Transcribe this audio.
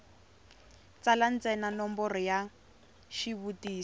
tsala ntsena nomboro ya xivutiso